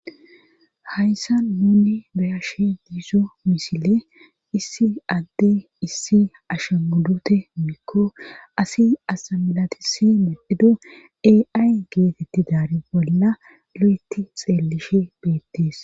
hayssa nunni bayashe diizo misiley issi adde issi ashagulute woyikko asi asa milatisi midhido aay geetetti daari bolla lo'eti xeelishe beettees